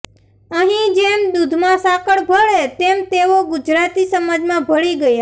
અહીં જેમ દૂધમાં સાકર ભળે તેમ તેઓ ગુજરાતી સમાજમાં ભળી ગયાં